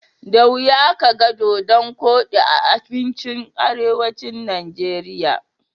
Da wuya kaga dodon koɗi a abincin arewacin Najeriya.